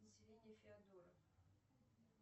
население феодоро